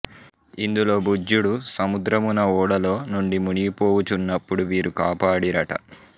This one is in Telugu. ఇందులో భుజ్యుడు సముద్రమున ఓడలో నుండి మునిగిపోవుచున్నపుడు వీరు కాపాడిరట